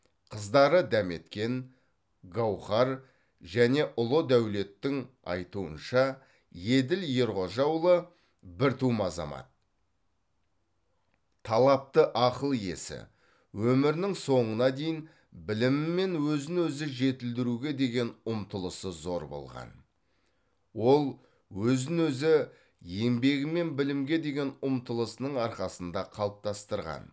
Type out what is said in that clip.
қыздары дәметкен гауһар және ұлы дәулеттің айтуынша еділ ерғожаұлы біртума азамат талапты ақыл иесі өмірінің соңына дейін білімі мен өзін өзі жетілдіруге деген ұмтылысы зор болған ол өзін өзі еңбегі мен білімге деген ұмтылысының арқасында қалыптастырған